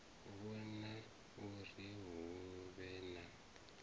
vhona uri hu vhe na